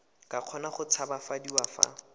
ka kgona go tshabafadiwa fa